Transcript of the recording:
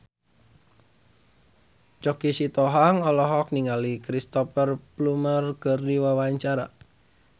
Choky Sitohang olohok ningali Cristhoper Plumer keur diwawancara